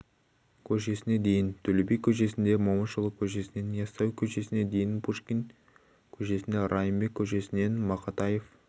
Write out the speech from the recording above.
көшесіне дейін төле би көшесінде момышұлы көшесінен яссауи көшесіне дейін пушкин көшесінде райымбек көшесінен мақатаев